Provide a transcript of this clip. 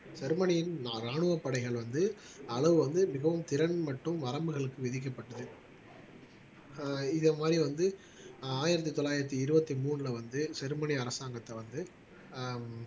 ஜெர்மனியின் ராணுவப் படைகள் வந்து அளவு வந்து மிகவும் திறன் மற்றும் வரம்புகளுக்கு விதிக்கப்பட்டது ஆஹ் இதை மாதிரி வந்து ஆஹ் ஆயிரத்தி தொள்ளாயிரத்தி இருபத்தி மூணுல வந்து ஜெர்மனி அரசாங்கத்தை வந்து ஆஹ்